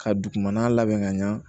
Ka dugumana labɛn ka ɲa